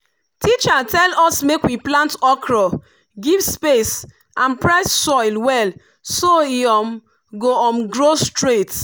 teacher tell us make we plant okra give space and press soil well so e um go um grow straight.